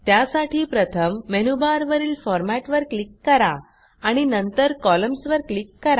त्यासाठी प्रथम मेनूबारवरील फॉर्मॅट वर क्लिक करा आणि नंतर कॉलम्न्स वर क्लिक करा